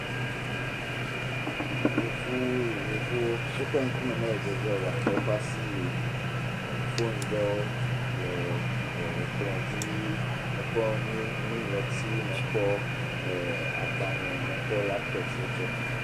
Yevowo o ƒe ŋukume mele dzedzeo gake woƒe asi le, foni ɖewo le ekplɔ̃ dzi, me kpɔ nu ŋlɔti, me kpɔ agbalē, me kpɔ laptɔpsiwo tse.